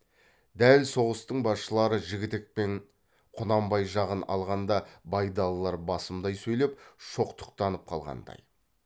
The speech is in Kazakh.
дәл соғыстың басшылары жігітек пен құнанбай жағын алғанда байдалылар басымдай сөйлеп шоқтықтанып қалғандай